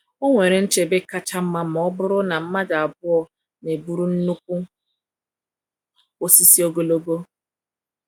O nwere nchebe kacha mma ma ọ bụrụ na mmadụ abụọ na-eburu nnukwu osisi ogologo.